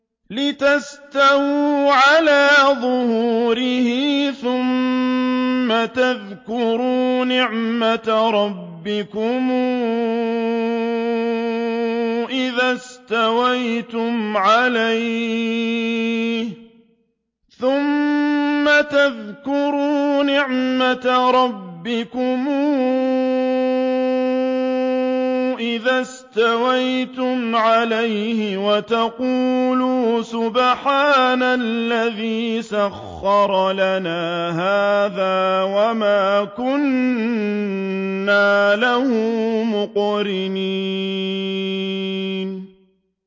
لِتَسْتَوُوا عَلَىٰ ظُهُورِهِ ثُمَّ تَذْكُرُوا نِعْمَةَ رَبِّكُمْ إِذَا اسْتَوَيْتُمْ عَلَيْهِ وَتَقُولُوا سُبْحَانَ الَّذِي سَخَّرَ لَنَا هَٰذَا وَمَا كُنَّا لَهُ مُقْرِنِينَ